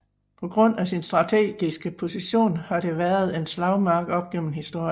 På grund af sin strategiske position har det været en slagmark op gennem historien